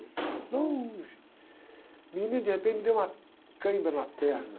Longe. Menina, de repente, me deu uma câimbra na perna.